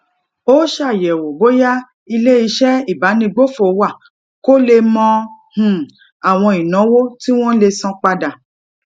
ó ṣàyèwò bóyá ilé iṣé ìbánigbófò wà kó lè mọ um àwọn ìnáwó tí wón lè san padà